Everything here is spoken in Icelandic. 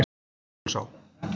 Jökulsá